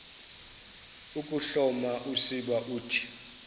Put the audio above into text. ukuhloma usiba uthi